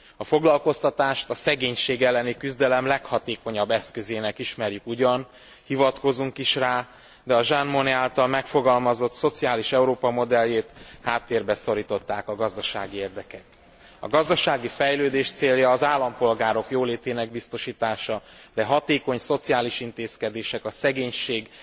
A foglalkoztatást a szegénység elleni küzdelem leghatékonyabb eszközének ismerjük ugyan, hivatkozunk is rá, de a Jean Monnet által megfogalmazott szociális Európa modelljét háttérbe szorították a gazdasági érdekek. A gazdasági fejlődés célja az állampolgárok jólétének biztosítása, de hatékony szociális intézkedések, a szegénység